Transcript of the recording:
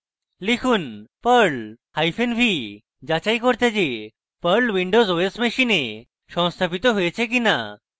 লিখুন: perl hyphen v যাচাই করতে যে perl windows os machine সংস্থাপিত হয়েছে কিনা